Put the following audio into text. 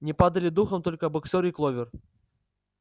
не падали духом только боксёр и кловер